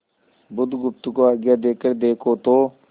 बुधगुप्त को आज्ञा देकर देखो तो